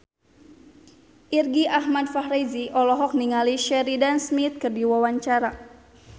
Irgi Ahmad Fahrezi olohok ningali Sheridan Smith keur diwawancara